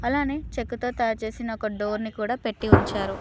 అలానే చెక్కతో తయారుచేసిన ఒక డోర్ ని కూడా పెట్టి ఉంచారు.